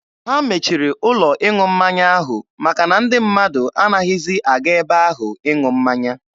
Ha mechiri ụlọ ịṅụ mmanya ahụ maka na ndị mmadụ anaghịzi aga ebe ahụ ịṅụ mmanya.